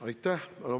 Aitäh!